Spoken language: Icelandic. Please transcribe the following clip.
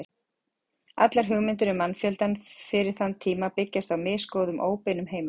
Allar hugmyndir um mannfjöldann fyrir þann tíma byggjast á misgóðum óbeinum heimildum.